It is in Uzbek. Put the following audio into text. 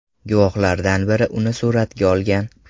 Guvohlardan biri uni suratga olgan.